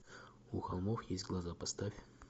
у холмов есть глаза поставь